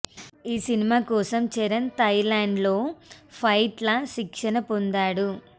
ఈ సినిమాకోసం Charan Thailand లో ఫైట్ ల శిక్షణ పొందాడు